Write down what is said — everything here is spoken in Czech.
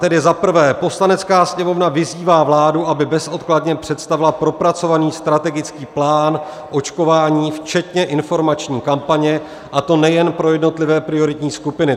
Tedy za prvé: "Poslanecká sněmovna vyzývá vládu, aby bezodkladně představila propracovaný strategický plán očkování včetně informační kampaně, a to nejen pro jednotlivé prioritní skupiny.